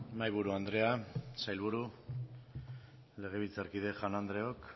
mahaiburu andrea sailburu legebiltzarkide jaun andreok